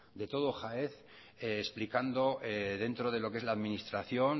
de todo jaez explicando dentro de lo que es la administración